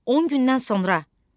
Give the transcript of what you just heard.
On gündən sonra.